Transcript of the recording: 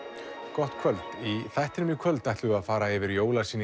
gott kvöld í þættinum í kvöld ætlum við að fara yfir